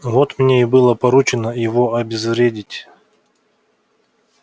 вот мне и было поручено его обезвредить